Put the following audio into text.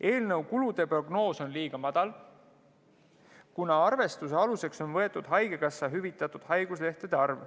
Eelnõu kulude prognoos on liiga madal, kuna arvestuse aluseks on võetud haigekassa hüvitatud haiguslehtede arv.